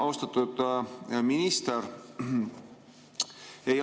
Austatud minister!